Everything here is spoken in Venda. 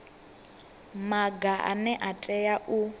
maga ane a tea u